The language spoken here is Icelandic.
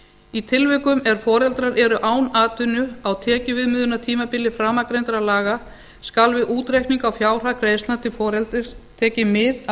í tilvikum ef foreldrar eru án atvinnu á tekjuviðmiðunartímabili framangreindra laga skal við útreikning á fjárhag greiðslna til foreldris tekið mið af